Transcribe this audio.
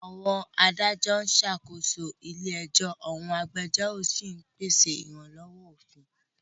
Àwọn adájọ́ ń ṣàkóso ilé ẹjọ́, àwọn agbẹjọ́rò sì ń pèsè ìrànlọ́wọ́ òfin.